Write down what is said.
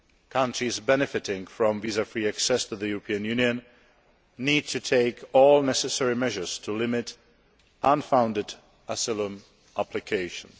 Countries benefiting from visa free access to the European Union need to take all necessary measures to limit unfounded asylum applications.